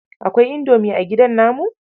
Aikwai Indomi a gidan namu?